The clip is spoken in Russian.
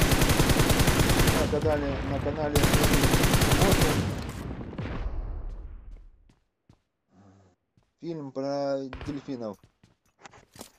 включи на кадале на канале в мире животных фильм про дельфинов